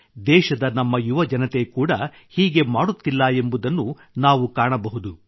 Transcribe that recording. ದೇಶದ ನಮ್ಮ ಯುವಜನತೆ ಕೂಡ ಹೀಗೆ ಮಾಡುತ್ತಿಲ್ಲ ಎಂಬುದನ್ನು ನಾವು ಕಾಣಬಹುದು